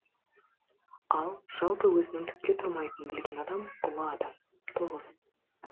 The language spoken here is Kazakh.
ал жалпы өзінің түкке тұрмайтынын білген адам ұлы адам тоғыз